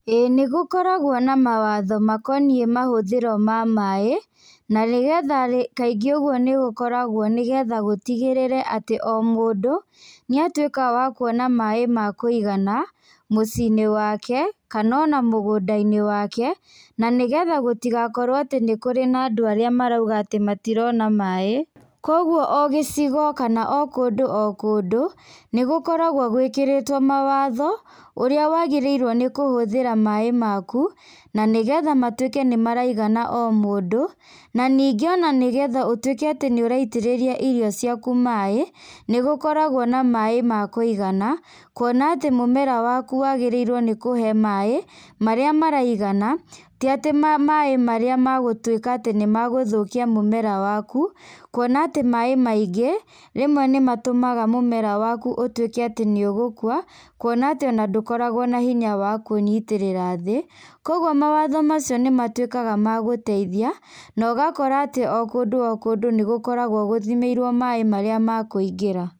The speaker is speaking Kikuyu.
Ĩĩ nĩgũkoragwo na mawatho makonĩe mahũthĩro wa maĩ na nĩgetha kaĩngĩ ũgũo nĩgũkorgwo nĩgetha gũtĩgĩrĩre atĩ o mũndũ nĩ a tũĩka wa kũona maĩ ma kũigana mũci inĩ wake kana, ona mũgũnda inĩ wake na getha gũtigakorwo atĩ nĩ kũrĩ na andũ arĩa maraũga ati matirona maĩ, kwogwo o gĩcigo kana o kũndũ o kũndũ nĩgũkoragwo gwĩkĩrĩtwo mawatho ũrĩa wagĩrĩre nĩ kũhũthĩra maĩ makũ, na nĩgetha matũike nĩ maraigana o mũndũ na nĩnge nĩgetha ũtũĩke atĩ nĩ ũraitĩrĩrĩa irĩo ciakũ maĩ nĩ gũkoragwo na maĩ ma kũigana kũona atĩ mũmera wakũ wagĩrĩrĩo nĩ kũhe maĩ, marĩa maraigana tĩ atĩ maĩ marĩa magũtũika atĩ nĩmagũthũkĩa mũmera wakũ kũona atĩ maĩ maĩngĩ rĩmwe nĩ matũmũga mũmera wakũ ũtũĩke atĩ nĩ ũgũkũa, kũona atĩ ndũkoragwo na hĩnya wa kwĩnyĩtĩrĩra thĩ. Kwogwo mawatho macĩo nĩ matũĩkaga nĩ magũteĩthĩa na ũgakora atĩ o kũndũ o kũndũ nĩ gũkoragwo gũthĩmĩirĩo maĩ marĩa makũĩngĩra.